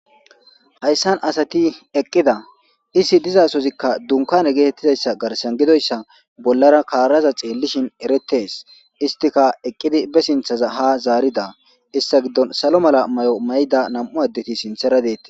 Hayssan asati eqqida isi dizasozikka dunkane geetettidayssa garsan gidoyssa bollara karaza xeellishin eretes istika eqqidi be sinthaza ha zaarida issa giddon salo mala may'o mayda nam'u addeti sinthera deetti.